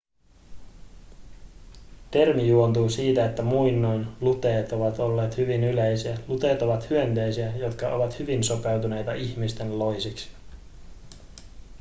termi juontuu siitä että muinoin luteet ovat olleet hyvin yleisiä luteet ovat hyönteisiä jotka ovat hyvin sopeutuneita ihmisten loisiksi